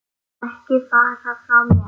Ekki fara frá mér!